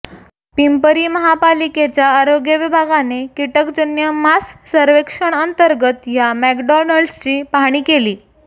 पिंपरी महापालिकेच्या आरोग्य विभागाने किटकजन्य मास सर्वेक्षण अंतर्गत या मॅकडॉनल्ड्सची पाहणी केली